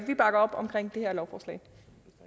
vi bakker op om